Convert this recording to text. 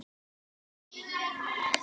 Þannig getur þetta verið.